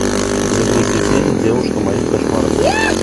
загрузи фильм девушка моих кошмаров